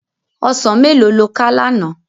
Òsán méló ló ká làná?